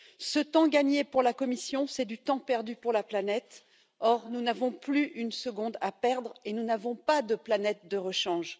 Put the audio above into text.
Ce temps gagné pour la Commission, c'est du temps perdu pour la planète, or nous n'avons plus une seconde à perdre et nous n'avons pas de planète de rechange.